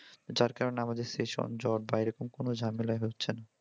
যার কারণে আমাদের session জট বা এইরকম কোনও ঝামেলাই হচ্ছেনা।